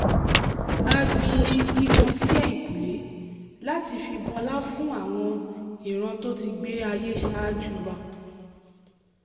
a gbin igi kan sí ẹ̀yìnkùlé láti fi bọlá fún àwọn ìran tó ti gbé ayé ṣáájú wa